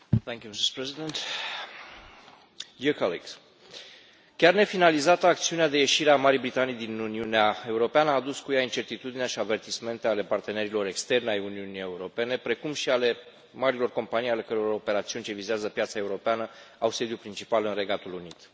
Doamnă președintă, chiar nefinalizată, acțiunea de ieșire a Marii Britanii din Uniunea Europeană a adus cu ea incertitudine și avertismente ale partenerilor externi ai Uniunii Europene, precum și ale marilor companii ale căror operațiuni ce vizează piața europeană au sediul principal în Regatul Unit.